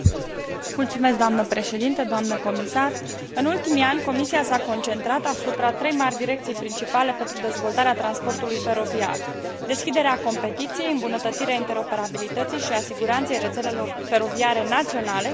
În ultimii ani, Comisia s a concentrat asupra trei mari direcții principale pentru dezvoltarea transportului feroviar deschiderea concurenței, îmbunătățirea interoperabilității și a siguranței rețelelor feroviare naționale și dezvoltarea infrastructurii de transport feroviar.